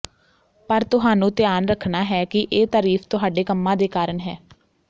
ਪਰ ਤੁਹਾਨੂੰ ਧਿਆਨ ਰੱਖਣਾ ਹੈ ਕਿ ਇਹ ਤਾਰੀਫ ਤੁਹਾਡੇ ਕੰਮਾਂ ਦੇ ਕਾਰਨ ਹੈ